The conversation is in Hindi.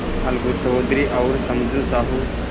अलगू चौधरी और समझू साहु